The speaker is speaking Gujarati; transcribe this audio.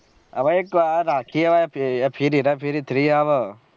હવે એક આ રાખીએ ફિર હેર ફેરી થ્ર three